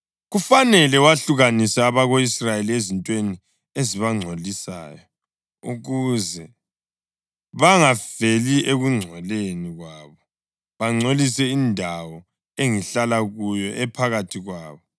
Kufanele wahlukanise abako-Israyeli ezintweni ezibangcolisayo, ukuze bangafeli ekungcoleni kwabo, bangcolise indawo engihlala kuyo, ephakathi kwabo.’ ”